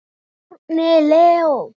Árni Leó.